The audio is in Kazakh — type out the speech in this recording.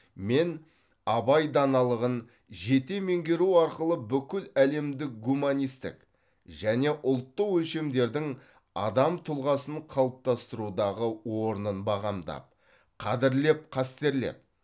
мен абай даналығын жете меңгеру арқылы бүкіләлемдік гуманистік және ұлттық өлшемдердің адам тұлғасын қалыптастырудағы орнын бағамдап қадірлеп қастерлеп